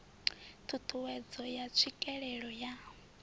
ṱhu ṱhuwedzo ya tswikelelo ya